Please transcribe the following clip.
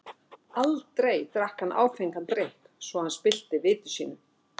Aldrei drakk hann áfengan drykk, svo að hann spillti viti sínu.